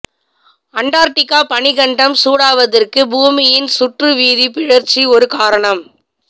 Antarctica பனிக்கண்டம் சூடாவதற்குப் பூமியின் சுற்றுவீதிப் பிறழ்ச்சி ஒரு காரணம்